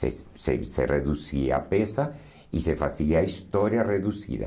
Se se se reduzia a peça e se fazia a história reduzida.